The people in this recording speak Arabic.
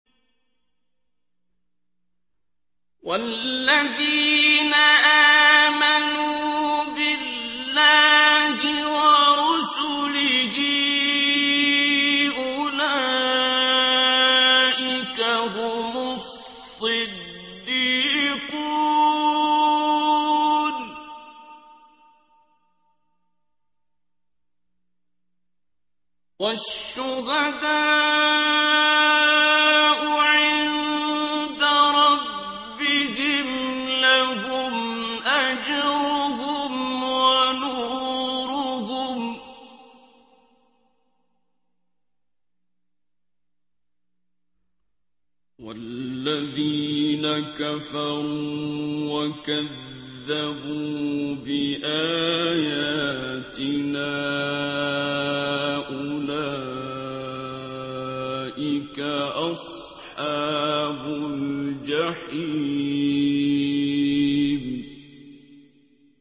وَالَّذِينَ آمَنُوا بِاللَّهِ وَرُسُلِهِ أُولَٰئِكَ هُمُ الصِّدِّيقُونَ ۖ وَالشُّهَدَاءُ عِندَ رَبِّهِمْ لَهُمْ أَجْرُهُمْ وَنُورُهُمْ ۖ وَالَّذِينَ كَفَرُوا وَكَذَّبُوا بِآيَاتِنَا أُولَٰئِكَ أَصْحَابُ الْجَحِيمِ